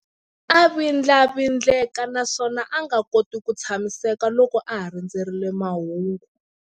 A vindlavindleka naswona a nga koti ku tshamiseka loko a ha rindzerile mahungu.